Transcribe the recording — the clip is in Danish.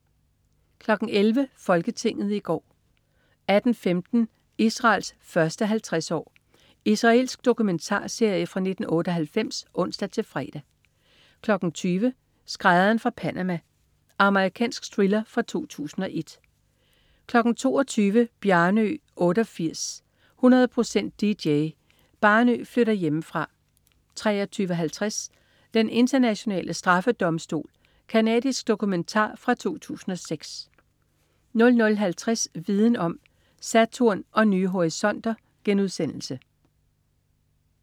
11.00 Folketinget i går 18.15 Israels første 50 år. Israelsk dokumentarserie fra 1998 (ons-fre) 20.00 Skrædderen fra Panama. Amerikansk thriller fra 2001 22.00 Bjarnø 88, 100% dj. Bjarnø Flytter Hjemmefra 23.50 Den Internationale Straffedomstol. Canadisk dokumentar fra 2006 00.50 Viden om: Saturn og nye horisonter*